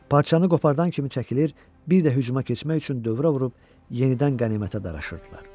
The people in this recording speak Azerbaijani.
Parçanı qopardan kimi çəkilir, bir də hücuma keçmək üçün dövrə vurub yenidən qənimətə daraşırdılar.